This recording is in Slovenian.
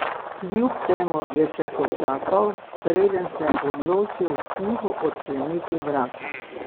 Kljub temu je še počakal, preden se je odločil tiho odkleniti vrata.